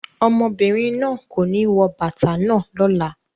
Ọmọbìnrin náà kò ní wọ bàtà náà lọ́la.